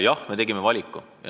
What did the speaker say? Jah, me tegime valiku.